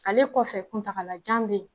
Ale kɔfɛ kuntaagalajan be ye